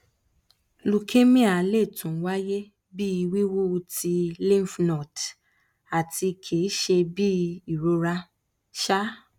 leukemia le tun waye bi wiwu ti lymphnode ati kii ṣe bi irora um